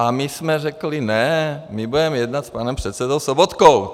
A my jsme řekli: Ne, my budeme jednat s panem předsedou Sobotkou.